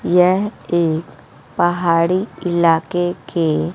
यह एक पहाड़ी इलाके के--